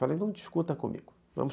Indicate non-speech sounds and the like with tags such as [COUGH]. Falei, não discuta comigo. [UNINTELLIGIBLE]